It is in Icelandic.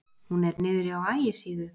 Hún er niðri á Ægisíðu.